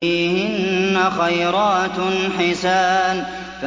فِيهِنَّ خَيْرَاتٌ حِسَانٌ